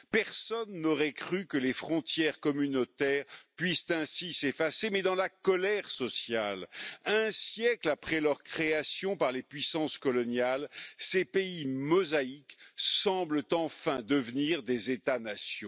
Personne n'aurait cru que les frontières communautaires puissent ainsi s'effacer, mais dans la colère sociale, un siècle après leur création par les puissances coloniales, ces pays mosaïques semblent enfin devenir des États nations.